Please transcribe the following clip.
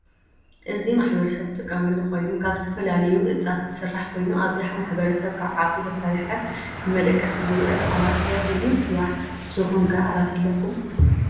እዚ ማሕበረሰብ ዝጥቀመሉ ኮይኑ ካብ ተፈላ ለዮ እፅት ዝሰራሕ ኮይኑ አብዝሐ ማሕበረሰብ ካብ ዓኪ ተሰርሐ ንመደቀሲ ዝውዕል ዓራት ተባሂሉ ይፅዋዕ ። ፐንሰኩም ከ ዓራት አለኩም?